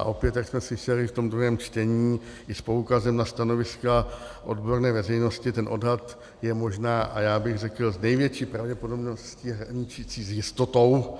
A opět, jak jsme slyšeli v tom druhém čtení i s poukazem na stanoviska odborné veřejnosti, ten odhad je možná, a já bych řekl s největší pravděpodobností hraničící s jistotou,